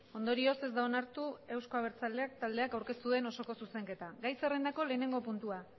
ondorioz ez da onartu euzko abertzaleak taldeak aurkeztu duen osoko zuzenketa gai zerrendako lehenengo puntua